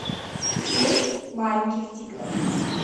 семь маленьких тигров